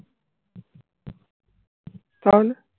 তাহলে?